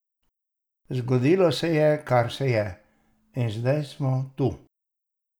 Zgodilo se je, kar se je, in zdaj sem tu.